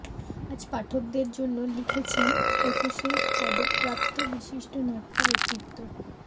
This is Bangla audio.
আজ পাঠকদের জন্য লিখেছেন একুশে পদকপ্রাপ্ত বিশিষ্ট নাট্যব্যক্তিত্ব ড